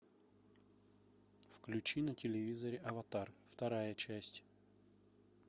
включи на телевизоре аватар вторая часть